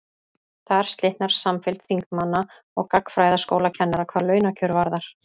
þar slitnar samfylgd þingmanna og gagnfræðaskólakennara hvað launakjör varðar